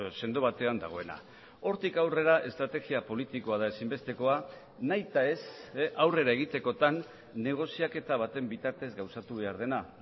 sendo batean dagoena hortik aurrera estrategia politikoa da ezinbestekoa nahita ez aurrera egitekotan negoziaketa baten bitartez gauzatu behar dena